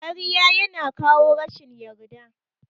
Ƙarya yana kawo rashin yarda.